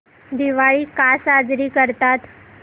दिवाळी का साजरी करतात